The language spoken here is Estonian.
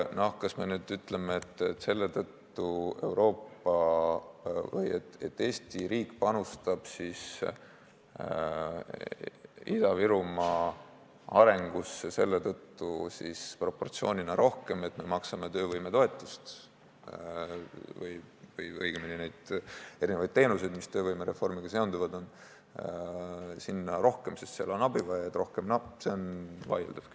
Kas me nüüd ütleme, et Eesti riik panustab Ida-Virumaa arengusse selle tõttu proportsioonina rohkem, et me maksame töövõimetoetust või õigemini pakume neid teenuseid, mis töövõimereformiga seonduvad, seal rohkem, sest seal on abivajajaid rohkem?